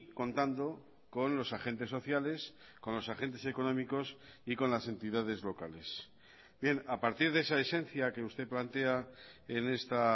contando con los agentes sociales con los agentes económicos y con las entidades locales bien a partir de esa esencia que usted plantea en esta